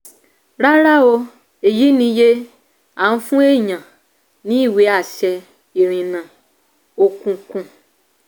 rárá o èyí ni iye à ń fún èèyàn ní ìwé àṣẹ ìrìnnà òkùnkùn.